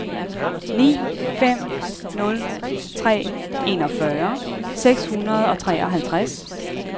ni fem nul tre enogfyrre seks hundrede og treoghalvtreds